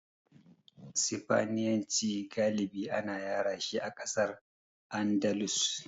Sifaniyanci galibi ana yarashi a ƙasar Andalus.